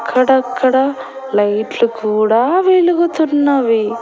అక్కడ-అక్కడ light లు కూడా వెలుగుతున్నవి.